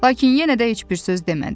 Lakin yenə də heç bir söz demədi.